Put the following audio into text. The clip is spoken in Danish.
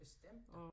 Bestemt da